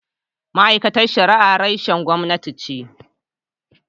Ma’aikatar Shari’a reshen gwamnati ce.